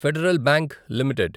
federal bank limited